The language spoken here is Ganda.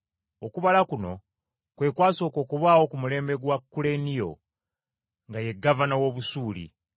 Okubala kuno kwe kwasooka okubaawo ku mulembe gwa Kuleniyo nga ye gavana w’Obusuuli .